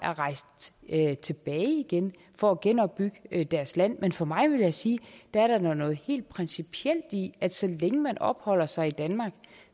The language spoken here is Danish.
er rejst tilbage igen for at genopbygge deres land men for mig vil jeg sige at der er noget helt principielt i at så længe man opholder sig i danmark